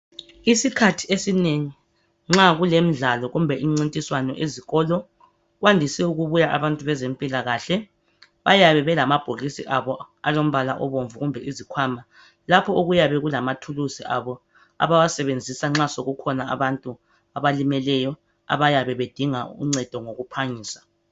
Isikhathi esinengi nxa kulemdlalo kumbe imncintiswano ezikolo kwandise ukubuya abantu bezempilakahle .Bayabe belamabhokisi abo alombala obomvu kumbe izikhwama .Lapho okuyabe kulamathuluzi abo abawasebenzisa nxa sokukhona abantu abalimeleyo abayabe bedinga uncedo ngokuphangisa.